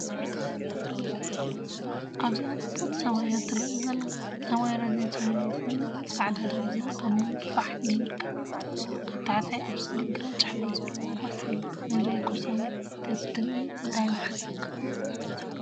ኣብዚ ጽብቕቲ ሰማይ እያ እተርኢይ ዘላ። ሰማይ ረዚን ሰማያዊ ኮይኑ ጻዕዳ ደበና ኣብ ምሉእ ፋሕ ኢሉ ይርከብ። ኣብ ታሕቲ ኣብ ስእሊ ግራጭ ሕብሪ ዘለዎ ባስ ኣሎ። ነዚ ውቁብ ሰማይ እንተትርኢ እንታይ ምሓሰብካ?